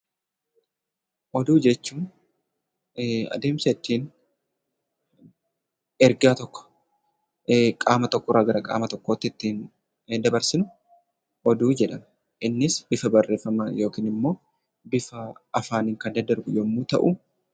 Oduu jechuun adeemsa ittiin ergaa tokko qaama tokko irraa gara qaama tokkootti ittiin dabarsinu oduu jedhama. Innis bifa barreeffamaa yookiin immoo bifa afaaniin kan daddarbu yommuu ta'u....